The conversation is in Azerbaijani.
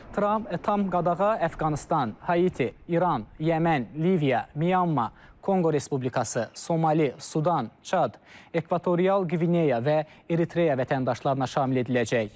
Tramp tam qadağa Əfqanıstan, Haiti, İran, Yəmən, Liviya, Myanma, Konqo Respublikası, Somali, Sudan, Çad, Ekvatorial Qvineya və Eritreya vətəndaşlarına şamil ediləcək.